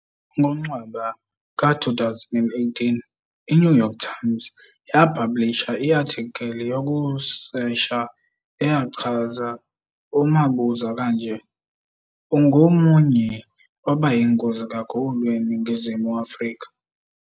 NgoNcwaba ka 2018, iNew York Times yaphabhulisha i-athikili yokusesha eyachaza uMabuza kanje "ungomunye wabayingozi kakhulu "eNingizimu Afrika.